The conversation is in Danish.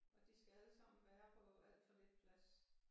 Og de skal alle sammen være på alt for lidt plads